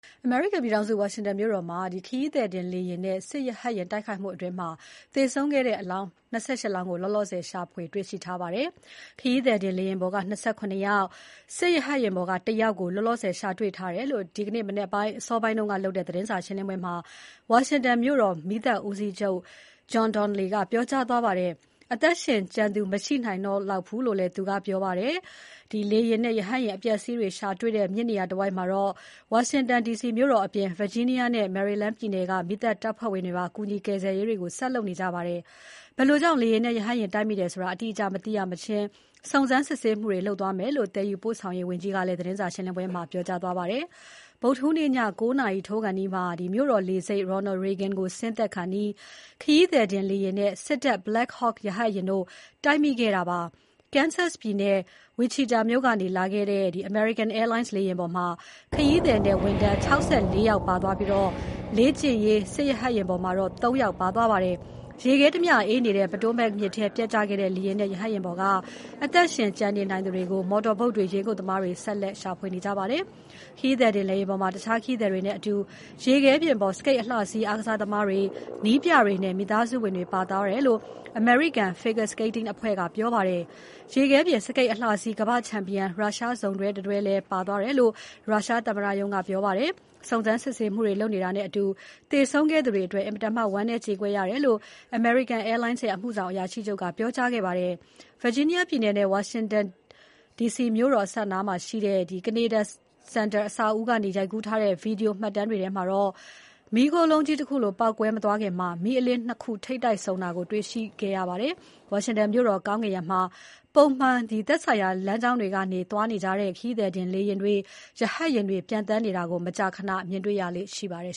အမေရိကန်ပြည်ထောင်စု ဝါရှင်တန်မြို့တော်အနီးမှာ ခရီးသည်တင်လေယာဉ်နဲ့ စစ်တပ်ရဟတ်ယာဉ် တိုက်မိခဲ့မှုအတွင်း သေဆုံးခဲ့တဲ့ အလောင်း ၂၈ လောင်း ကို လောလောဆယ်ရှာတွေ့ထားပါတယ်။ ခရီးသည်တင်လေယာဉ်ပေါ်က ၂၇ ယောက် စစ်ရဟတ်ယာဉ်ပေါ်ကတယောက်ကို လောလောဆယ် ရှာတွေ့ထားတယ်လို့ ဒီမနက်အစောပိုင်းလုပ်တဲ့ သတင်းစာရှင်းပွဲမှာ ဝါရှင်တန်မြို့တော် မီးသတ်ဦးစီးချုပ် John Donnelly ကပြောကြားသွားပါတယ်။ လေယာဉ်အပျက်အစီးတွေရှာတွေ့တဲ့ မြစ်နေရာတဝိုက် ဝါရှင်တန်ဒီစီမြို့တော်အပြင် Virginia နဲ့ Maryland ပြည်နယ်က မီးသတ်တပ်ဖွဲ့ဝင်တွေပါ ကူညီကယ်ဆယ်ရေးတွေကို ဆက်လုပ်နေကြပါတယ်။ ဘယ်လိုကြောင့် လေယာဉ်နဲ့ ရဟတ်ယာဉ်တိုက်မိတယ်ဆိုတာ အတိအကျ မသိရမချင်း စုံစမ်းစစ်ဆေး သွားမယ်လို့ သယ်ယူပို့ဆောင်ရေးဝန်ကြီးကလည်း သတင်းစာရှင်းပွဲမှာ ပြောကြားခဲ့ပါတယ်။ ဗုဒ္ဓဟူးနေ့ ည ၉ နာရီထိုးခါးနီးမှာ မြို့တော်လေဆိပ် Ronald Reagan ကိုဆင်းသက်ခါနီး ခရီးသည်တင် လေယာဉ်နဲ့ စစ်တပ် Black Hawk ရဟတ်ယာဉ်တို့ တိုက်မိခဲ့တာဖြစ်ပါတယ်။ Kansas ပြည်နယ် Wichita မြို့ကနေလာတဲ့ American Airlines လေယာဉ်ပေါ်မှာ ခရီးသည်နဲ့ ဝန်ထမ်း ၆၄ ယောက် ပါသွားပြီး လေ့ကျင့်ရေး စစ်ရဟတ်ယာဉ်ပေါ်မှာ ၃ ယောက် ပါသွားပါတယ်။ ရေခဲတမျှအေးနေတဲ့ Potomac မြစ်ထဲပျက်ကျသွားတဲ့ လေယာဉ်နဲ့ ရဟတ်ယာဉ်ပေါ်က အသက်ရှင်ကျန်နေနိုင်သူတွေကို မော်တော်ဘုတ်တွေ၊ ရေငုပ်သမားတွေ ဆက်လက်ရှာဖွေနေကြပါတယ်။ ခရီးသည်တင်လေယာဉ်ပေါ်မှာ တခြားခရီးသည်တွေနဲ့အတူ ရေခဲပြင်ပေါ် စကိတ်အလှစီး အားကစား သမားတွေ၊ နည်းပြတွေနဲ့ မိသားစုဝင်တွေ ပါသွားတယ်လို့ အမေရိကန် Figure Skating အဖွဲ့က ပြောပါတယ်။ ရေခဲပြင်စကိတ်အလှစီး ကမ္ဘာ့ချန်ပီယံ ရုရှားစုံတွဲ Evgenia Shishkova နဲ့ Vadim Naumov တို့လည်း ပါသွားတယ်လို့ ရုရှားသမ္မတရုံးက ပြောပါတယ်။ စုံစမ်းစစ်ဆေးမှုတွေလုပ်နေတာနဲ့အတူ သေဆုံးခဲ့သူတွေအတွက် အင်မတန် ဝမ်းနည်း ကြေကွဲရတယ် လို့ American Airlines ရဲ့ အမှုဆောင် အရာရှိချုပ်က ပြောကြားခဲ့ပါတယ်။ ဗာဂျီးနီးယားပြည်နယ် နယ်စပ် ဝါရှင်တန် ဒီစီမြို့တော်မှာရှိတဲ့ Kennedy Center အဆောက်အဦးနားကနေ ရိုက်ကူးထားတဲ့ ဗီဒီယိုမှတ်တမ်းတွေထဲမှာ မီးလုံးကြီးတခုလို ပေါက်ကွဲမသွားခင် မီးအလင်း ၂ ခု ထိပ်တိုက်ဆုံတာကို တွေ့ရှိခဲ့ရပါတယ်။ ဝါရှင်တန်မြို့တော် ကောင်းကင်ယံမှာ ပုံမှန် သက်ဆိုင်ရာ လမ်းကြောင်းတွေကနေ ပျံသန်းသွားနေကြတဲ့ ခရီးသည်တင် လေယာဉ်တွေ၊ ရဟတ်ယာဉ်တွေ ပျံသန်းနေကြတာကို မကြာခဏ တွေ့မြင်ရလေ့ရှိပါတယ်